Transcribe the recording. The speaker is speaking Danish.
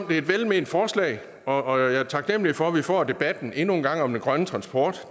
det er et velment forslag og jeg er taknemlig for at vi får debatten endnu en gang om den grønne transport